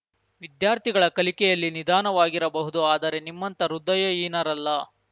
ವಿದ್ಯಾರ್ಥಿಗಳ ಕಲಿಕೆಯಲ್ಲಿ ನಿಧಾನವಾಗಿರಬಹುದು ಆದರೆ ನಿಮ್ಮಂತ ಹೃದಯಹೀನರಲ್ಲ